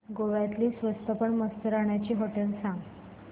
गोव्यातली स्वस्त पण मस्त राहण्याची होटेलं सांग